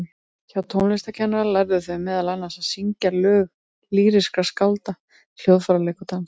Hjá tónlistarkennara lærðu þau meðal annars að syngja lög lýrískra skálda, hljóðfæraleik og dans.